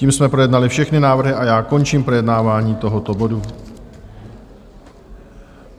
Tím jsme projednali všechny návrhy a já končím projednávání tohoto bodu.